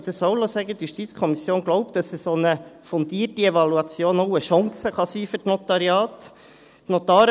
Zudem glaubt die JuKo – lassen Sie mich dies auch sagen –, dass eine solche, fundierte Evaluation auch eine Chance für die Notariate sein kann.